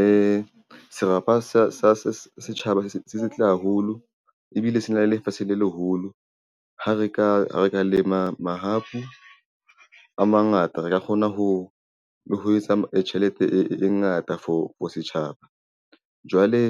Ee, serapa sa setjhaba se setle haholo ebile se na le lefatsheng le leholo ha re ka lema mahapu a mangata, re ka kgona le ho etsa tjhelete e ngata for setjhaba. Jwale